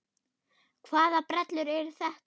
Hvaða brellur eru þetta?